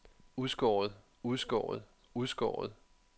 udskåret udskåret udskåret